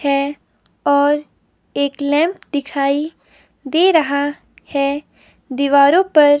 है और एक लैंप दिखाई दे रहा है दीवारों पर--